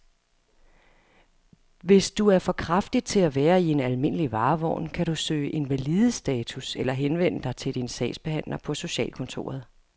Hvis du er for kraftig til at være i en almindelig varevogn, kan du kan søge invalidestatus eller henvende dig til din sagsbehandler på socialkontoret.